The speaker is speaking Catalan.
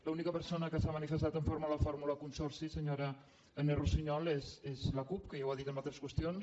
l’única persona que s’ha manifestat en contra de la fórmula consorci se·nyora agnès russiñol és la cup que ja ho ha dit en altres qüestions